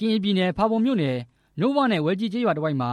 င်ပြည်နယ် ဖာပွန်မြို့နယ် ကန်ညီနောင်ကျေးရွာနဲ့ ဝဲကြီးကျေးရွားတဝိုက်မ